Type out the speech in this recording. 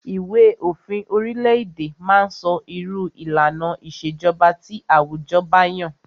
Ìwé òfin orile-èdè má ń sọ irú ìlànà ìṣèjọba tí àwùjọ ba yàn.